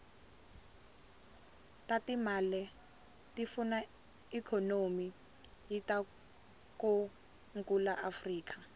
tatimale tifuna ikonomy yatikonkulu afrika